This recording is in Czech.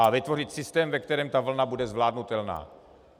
A vytvořit systém, ve kterém ta vlna bude zvládnutelná.